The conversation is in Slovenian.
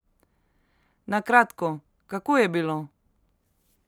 Na kratko, kako je bilo?